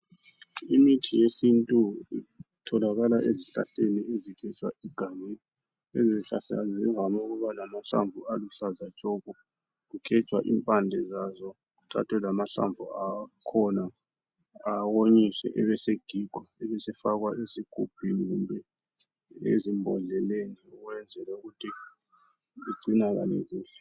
Imithi yesintu itholakala ezihlahleni ezigejwa egangeni izihlahla zivame ukuba lamahlamvu aluhlaza tshoko. Kugejwa impande zazo kuthathwe lamahlamvu akhona awonyiswe ebesegigwa ubesefakwa ezigubhini kumbe ezimbodleleni ukuze egcineke kuhle.